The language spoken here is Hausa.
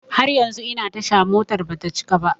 Har yanzu ina tasha, motar bata cika ba.